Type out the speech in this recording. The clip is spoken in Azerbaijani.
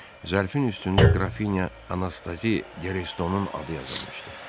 Zərfin üstündə Qrafinya Anastazi Derestonun adı yazılmışdı.